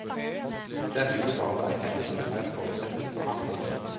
Denne globale erkjennelsen er en forutsetning for handling.